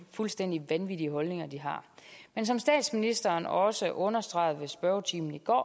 fuldstændig vanvittige holdninger men som statsministeren også understregede i spørgetimen i går